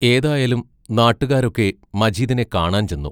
ഏതായാലും നാട്ടുകാരൊക്കെ മജീദിനെ കാണാൻ ചെന്നു.